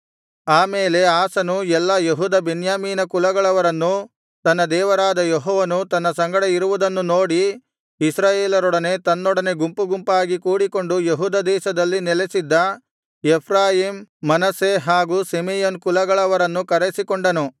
ಆ ಮೇಲೆ ಆಸನು ಎಲ್ಲಾ ಯೆಹೂದ ಬೆನ್ಯಾಮೀನ ಕುಲಗಳವರನ್ನೂ ತನ್ನ ದೇವರಾದ ಯೆಹೋವನು ತನ್ನ ಸಂಗಡ ಇರುವುದನ್ನು ನೋಡಿ ಇಸ್ರಾಯೇಲರೊಡನೆ ತನ್ನೊಡನೆ ಗುಂಪುಗುಂಪಾಗಿ ಕೂಡಿಕೊಂಡು ಯೆಹೂದ ದೇಶದಲ್ಲಿ ನೆಲಸಿದ್ದ ಎಫ್ರಾಯೀಮ್ ಮನಸ್ಸೆ ಹಾಗೂ ಸಿಮೆಯೋನ್ ಕುಲಗಳವರನ್ನೂ ಕರೆಸಿಕೊಂಡನು